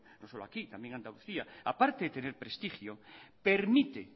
mno solo aquí también en andalucíac permite